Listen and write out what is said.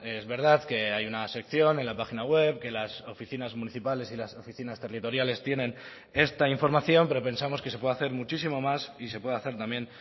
es verdad que hay una sección en la página web que las oficinas municipales y las oficinas territoriales tienen esta información pero pensamos que se puede hacer muchísimo más y se puede hacer también